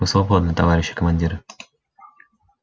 вы свободны товарищи командиры